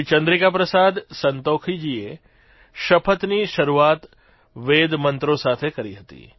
શ્રી ચંદ્રિકા પ્રસાદ સંતોખીજીએ શપથની શરૂઆત વેદમંત્રો સાથે કરી હતી